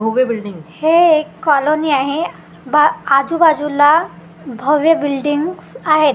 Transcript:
उभे बिल्डिंग हे एक कॉलोनी आहे बा आजूबाजूला भव्य बिल्डिंग्स आहेत.